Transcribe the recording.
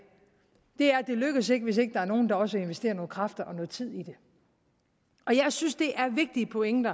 er at det lykkes ikke hvis ikke der er nogen der også vil investere nogle kræfter og noget tid i det og jeg synes der er en vigtig pointe